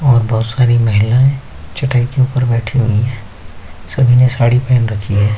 और बोहोत सारी महिलाएँ चटाई के ऊपर बैठी हुई है सभी ने साड़ी पहन रखी हैं।